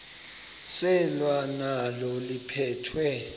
selwa nalo liphekhwe